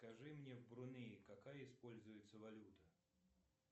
скажи мне в брунее какая используется валюта